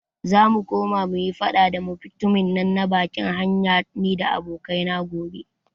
Zamu koma muyi faɗa da mutumin na bakin hanya nida abokai na gobe.